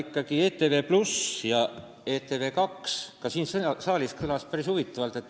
Kui nüüd rääkida ETV+-ist ja ETV2-st, siis kõlasid siin saalis päris huvitavad väited.